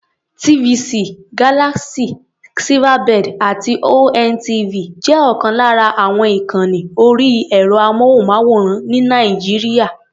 TVC, Galaxy, Silverbird àti ONTV jẹ́ ọ̀kan lára àwọn ìkànni orí ẹ̀rọ-amóhùnmáwòrán ní Nàìjíríà.